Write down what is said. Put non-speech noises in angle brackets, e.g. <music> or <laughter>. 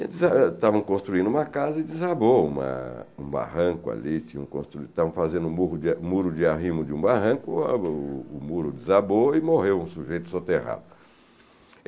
<unintelligible> Estavam construindo uma uma casa e desabou uma um barranco ali, estavam fazendo um muro muro de arrimo de um barranco, o o muro desabou e morreu um sujeito soterrado.